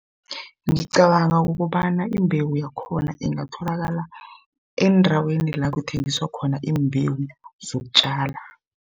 Ngicabanga ukobana imbewu yakhona ingatholakala endaweni la kuthengiswa khona iimbewu zokutjala.